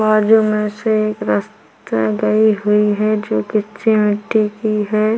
बाजू मे से एक रस्ता गए हुए हैं जो की कच्चे मिट्टी की हैं।